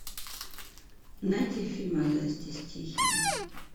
найди фильм а зори здесь тихие